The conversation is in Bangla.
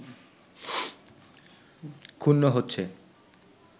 ক্ষুণ্ন হচ্ছে